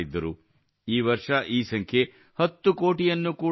ಈ ವರ್ಷ ಈ ಸಂಖ್ಯೆ 10 ಕೋಟಿಯನ್ನು ಕೂಡಾ ಮೀರಿದೆ